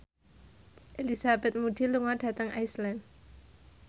Elizabeth Moody lunga dhateng Iceland